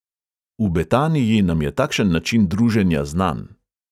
V betaniji nam je takšen način druženja znan.